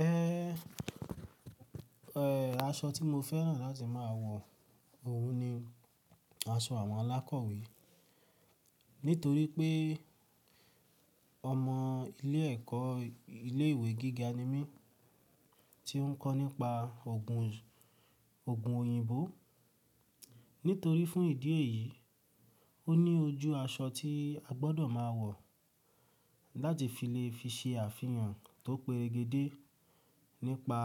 Ẹhen, ẹh, aṣọ tí mo fẹ́ràn láti má a wọ̀, òhun ni aṣọ àwọn alákọ̀wé. Nítorí pé ọmọ ilé ẹ̀kọ́ ilé ìwé gíga ni mí tí ń kọ́ nípa ògùn, ògùn òyìnbó. Nítorí fún ìdí èyí, ó ní ojú aṣọ tí a gbọ́dọ̀ máa wọ̀ láti fi lè fi ṣe àfihàn tó perege dé nípa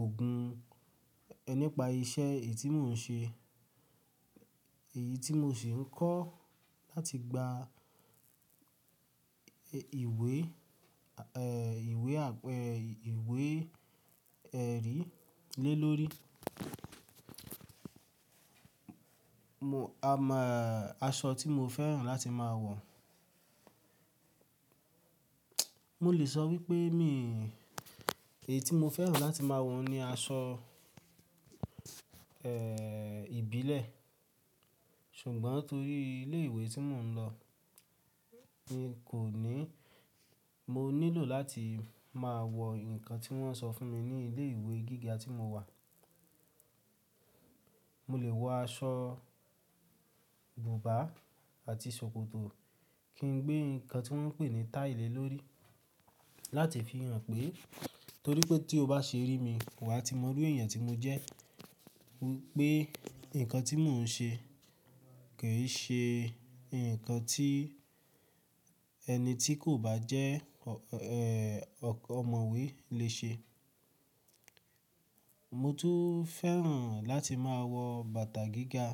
ògùn, ẹ, nípa iṣẹ́ èyí tí mò ń ṣe, èyí tí mò ṣì ń kọ́ láti gba ìwé, ẹh, ìwé, àpẹ ìwé ẹrí lé lórí. Mo a mọ aṣọ tí mo fẹ́ràn láti má a wọ̀. Mo lè sọ wípé mi, èyí tí mo fẹ́ràn láti má a wọ̀ ni aṣọ, ẹ, ìbílẹ̀. Ṣùgbọ́n torí ilé ìwé tí mò ń lọ ni kò ní, mo nílò láti máa wọ nǹkan tí wọ́n sọ fún mi ní ilé ìwé gíga tí mo wà. Mo lè wọ aṣọ bùbá àti ṣòkòtò kí n gbé nǹkan tí wọ́n ń pè ní táìlì lórí láti fi hàn pé, torí pé tí o bá ṣe rí mi, wà á ti mọrú èèyàn tí mo jẹ́. Wípé nǹkan tí mò ń ṣe kì í ṣe nǹkan tí ẹni tí kò bá jẹ́ ọ, ọ́, ẹ́, ọkọ̀ ọ̀mọ̀wé lè ṣe. Mo tún fẹ́ràn láti máa wọ bàtà gíga,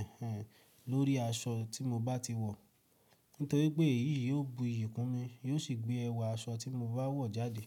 ẹ́hẹn, lórí aṣọ tí mo bá ti wọ̀. Nítorí pé èyí yóò bu iyì kún mi, yóò sì gbé ẹwà aṣọ tí mo bá wọ̀ jáde.